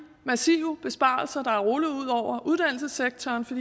massive besparelser der er rullet ud over uddannelsessektoren for